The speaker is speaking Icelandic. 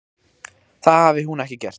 Það hafi hún ekki gert.